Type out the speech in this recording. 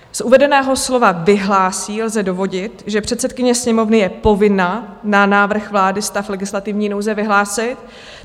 Z uvedeného slova "vyhlásí" lze dovodit, že předsedkyně Sněmovny je povinna na návrh vlády stav legislativní nouze vyhlásit.